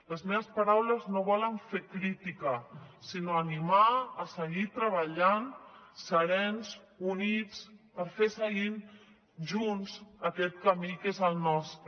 les meves paraules no volen fer crítica sinó animar a seguir treballant serens units per seguir fent junts aquest camí que és el nostre